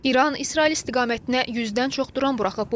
İran İsrail istiqamətinə 100-dən çox dron buraxıb.